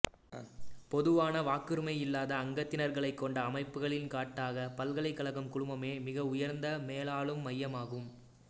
பொதுவான வாக்குரிமை இல்லாத அங்கத்தினர்களைக் கொண்ட அமைப்புகளில் காட்டாக பல்கலைக்கழகம் குழுமமே மிக உயர்ந்த மேலாளும் மையமாகும்